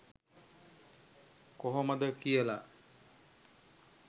කොහොමද කියල